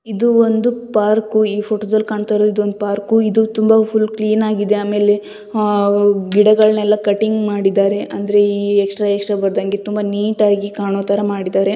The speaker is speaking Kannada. ಇದು ಒಂದು ಪಾರ್ಕು ಈ ಫೋಟೋ ದಲ್ಲಿ ಕಾಣ್ತಾ ಇರೋದು ಒಂದ್ ಪಾರ್ಕು ಇದು ತುಂಬಾ ಫುಲ್ ಕ್ಲೀನ್ ಆಗಿದೆ ಆಮೇಲೆ ಆಹ್ ಗಿಡಗಳನೆಲ್ಲ ಕಟಿಂಗ್ ಮಾಡಿದ್ದಾರೆ ಅಂದ್ರೆ ಈ ಎಕ್ಸ್ಟ್ರಾ ಎಕ್ಸ್ಟ್ರಾ ಬರದಂಗೆ ತುಂಬಾ ನೀಟಾಗಿ ಕಾಣೋತ್ತರ ಮಾಡಿದ್ದಾರೆ.